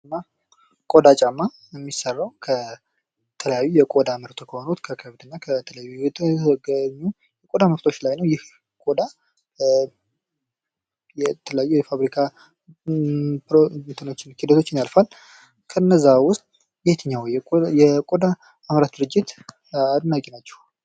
ቆዳ ጫማ የሚየሰራው ከተለያዩ የቆዳ ምርቶች ከሆኑ ላይ ነው። ይህ ቆዳ የተለያዩ የፋብሪካ ሂደቶችን ያልፋል። ከነዚያ ውስጥ የየትኛው የቆዳ አምራች ድርጅት አድናቂ ናቸው።